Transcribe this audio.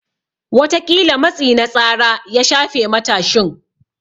Wataƙila matsi na tsara ya shafe matashin.